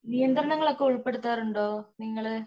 നിയന്ത്രണങ്ങള് ഒക്കെ ഉള്പെടുത്താറുണ്ടോ നിങ്ങള്